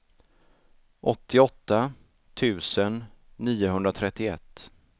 åttioåtta tusen niohundratrettioett